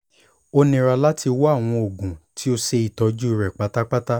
o nira lati wa awọn oogun ti o ṣe itọju rẹ patapata